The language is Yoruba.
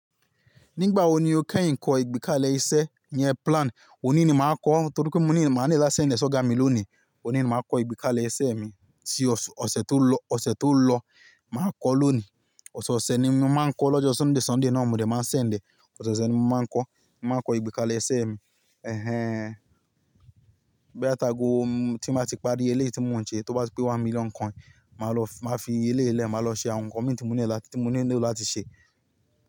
Nígbà wo ni o kẹ́yìn kọ ìgbékalẹ̀ ìṣẹ́, iyẹn plan? Òní ni màá kọ, torí pé mò ni màá need láti ṣẹ̀ lẹ́sẹ̀ ọ̀gá mi lónìí. Òní ni màá kọ ìgbékalẹ̀ iṣẹ́ mi. Tí ọ̀sẹ̀ tó lọ, ọ̀sẹ̀ tó lọ, màá kọ lónìí. Ọ̀sẹ̀ ọ̀sẹ̀ ni mo máa ń kọ, lọ́jọ́ Sunday, Sunday náà mòde máa send ẹ́. Ọ̀sẹ̀ ọ̀sẹ̀ ni mo máa ń kọ. Màá kọ ìgbékalẹ̀ iṣẹ́ mi. Ẹ̀hẹn. Bóyá tàgò tí màá ti parí eléyìí tí mò ń ṣe, tó bá ti pé one million coin, màá lọ, màá fi eléyìí lẹ́, màá lọ ṣe àwon nǹkan mi tí mò nílò, tí mò nílò láti ṣe.